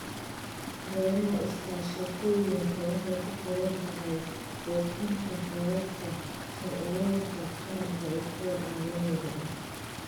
Beeraha iskaashatooyinka waxay ku xiran tahay buuxinta heerarka sharciyeynta qaranka iyo kuwa caalamiga ah.